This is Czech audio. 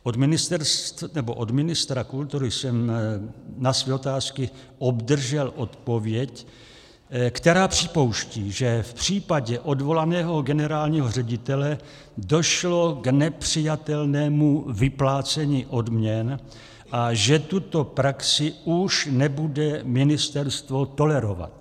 Od ministra kultury jsem na své otázky obdržel odpověď, která připouští, že v případě odvolaného generálního ředitele došlo k nepřijatelnému vyplácení odměn a že tuto praxi už nebude ministerstvo tolerovat.